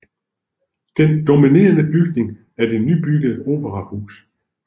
Den dominerende bygning er det nybyggede operahus